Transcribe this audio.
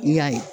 N y'a ye